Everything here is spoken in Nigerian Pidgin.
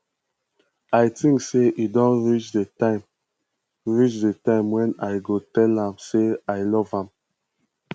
i think say e don reach the time reach the time wen i go tell am say i love am